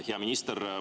Hea minister!